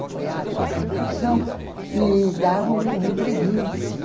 Apoiado a revolução e dava um empreguinho assim.